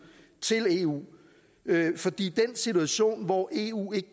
til eu fordi den situation hvor eu ikke